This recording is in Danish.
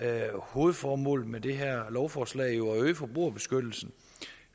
er hovedformålet med det her lovforslag jo at øge forbrugerbeskyttelsen